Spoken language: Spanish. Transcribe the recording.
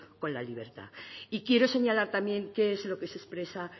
con la libertad y quiero señalar también qué es lo que se expresa